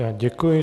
Já děkuji.